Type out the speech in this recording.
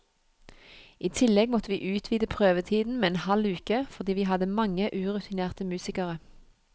I tillegg måtte vi utvide prøvetiden med en halv uke, fordi vi hadde mange urutinerte musikere.